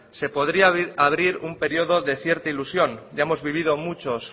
se podría abrir un periodo de cierta ilusión ya hemos vivido muchos